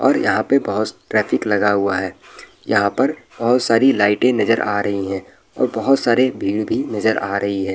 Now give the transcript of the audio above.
और यहाँ पे बहुत ट्रैफिक लगा हुआ है यहाँ पर बहुत सारी लाइटें नजर आ रही है और बहुत सारे भीड़ भी नजर आ रही है।